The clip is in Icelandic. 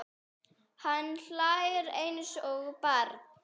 Hann hlær eins og barn.